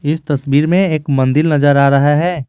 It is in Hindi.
इस तस्वीर में एक मंदिर नजर आ रहा है।